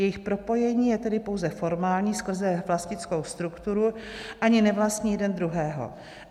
Jejich propojení je tedy pouze formální skrze vlastnickou strukturu, ani nevlastní jeden druhého.